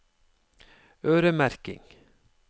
øremerking